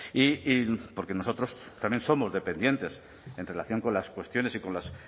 y porque nosotros también somos dependientes en relación con las cuestiones y con los